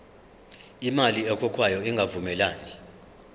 imali ekhokhwayo ingavumelani